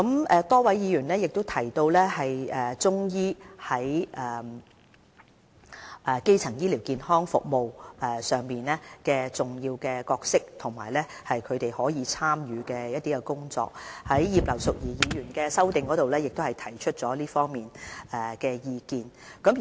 此外，多位議員也提及中醫在基層醫療健康服務的重要角色及可以參與的範疇，葉劉淑儀議員也有在其修正案中提出這方面的意見。